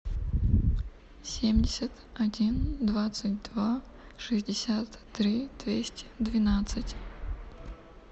семьдесят один двадцать два шестьдесят три двести двенадцать